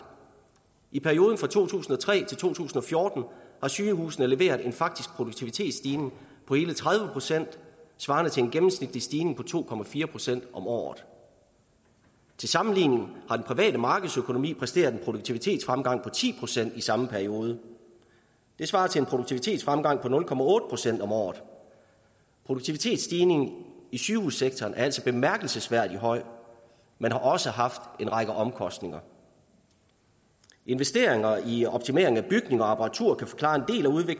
i perioden fra to tusind og tre til to tusind og fjorten har sygehusene leveret en faktisk produktivitetsstigning på hele tredive procent svarende til en gennemsnitlig stigning på to procent om året til sammenligning har den private markedsøkonomi præsteret en produktivitetsfremgang på ti procent i samme periode det svarer til en produktivitetsfremgang på nul procent om året produktivitetsstigningen i sygehussektoren er altså bemærkelsesværdig høj men har også haft en række omkostninger investeringer i optimering af bygninger og apparatur kan forklare